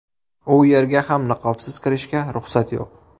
U yerga ham niqobsiz kirishga ruxsat yo‘q.